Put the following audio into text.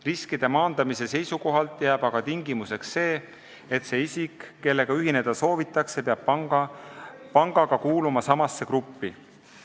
Riskide maandamiseks jääb aga kehtima see tingimus, et see isik, kellega ühineda soovitakse, peab kuuluma pangaga samasse gruppi.